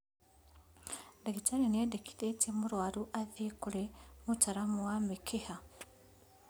Ndagĩtarĩ nĩendekithĩtie mũrwaru athiĩ kũrĩ mũtaramu wa mĩkiha